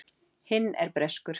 Hinn er breskur.